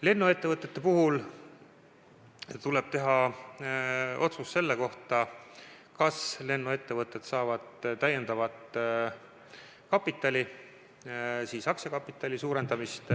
Lennuettevõtete puhul tuleb teha otsus selle kohta, kas lennuettevõtted saavad täiendavat kapitali, aktsiakapitali suurendamist.